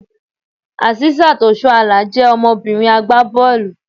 Asisat Oshoala je ọmọbìnrin agbá bọ́ọ̀lù.